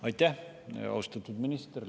Aitäh, austatud minister!